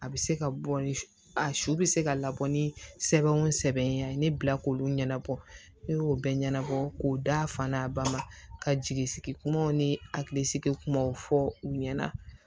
A bɛ se ka bɔ ni a su bɛ se ka labɔ ni sɛbɛnw sɛbɛn a ye ne bila k'olu ɲɛnabɔ ne y'o bɛɛ ɲɛnabɔ k'o da fan na a ba ma ka jigi sigi kumaw ni hakilisigi kumaw fɔ u ɲɛna